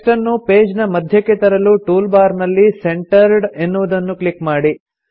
text ಅನ್ನು page ನ ಮಧ್ಯಕ್ಕೆ ತರಲು ಟೂಲ್ ಬಾರ್ ನಲ್ಲಿ ಸೆಂಟರ್ಡ್ ಎನ್ನುವುದನ್ನು ಕ್ಲಿಕ್ ಮಾಡಿ